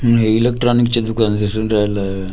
अन हे इलेक्ट्रॉनिकचे दुकान दिसून राहिलं .